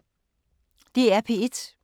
DR P1